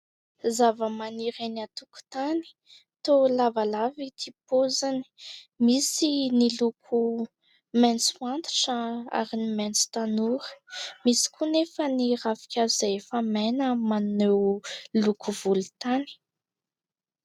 Zava-maniry eny an-tokotany, toa lavalava ity paoziny; misy ny loko : maitso antitra ary ny maitso tanora, fa n'y ravin-kazo izay efa maina miloko volon-tany.